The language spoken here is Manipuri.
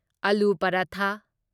ꯑꯂꯨ ꯄꯔꯊꯥ